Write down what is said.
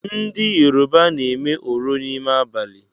Ndị Yoruba na-eme oro n’ime abalị